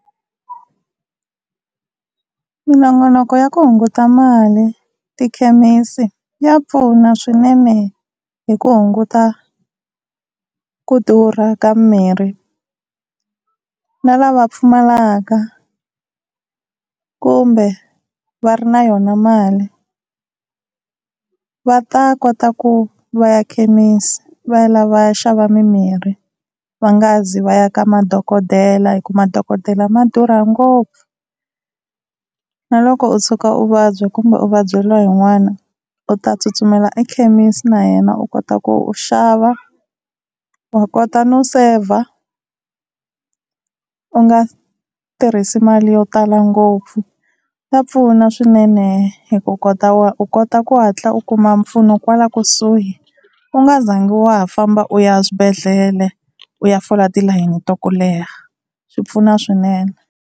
Minongonoko ya ku hunguta mali tikhemisi ya pfuna swinene hi ku hunguta ku durha ka mirhi, na lava pfumalaka kumbe va ri na yona mali va ta kota ku va ya khemisi va ya lava va ya xava mimirhi, va nga zi va ya ka madokodela hi ku madokodela ma durha ngopfu. Na loko u tshuka u vabya kumbe u vabyeriwa hi n'wana u ta tsutsumela ekhemisi na yena u kota ku u xava. Wa kota no saver u nga tirhisi mali yo tala ngopfu, ya pfuna swinene hi ku kota u kota ku hatla u kuma mpfuno kwala kusuhi, u nga zangi wa ha famba u ya swibedhlele u ya fola tilayini ta ku leha yi pfuna swinene.